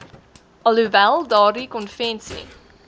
alhoewel daardie konvensie